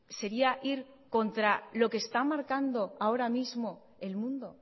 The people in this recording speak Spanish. sería ir contra lo que está marcando ahora mismo el mundo